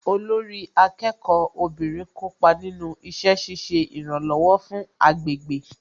Olórí akẹ́kọ̀ọ́ obìnrin kópa nínú iṣẹ́ ṣiṣẹ́ ìrànlọ̀wọ̀ fún agbègbè